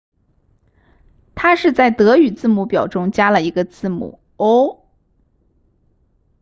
它是在德语字母表中加了一个字母 õ/õ